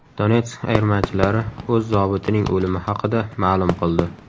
Donetsk ayirmachilari o‘z zobitining o‘limi haqida ma’lum qildi.